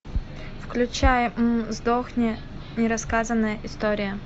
включай м сдохни нерассказанная история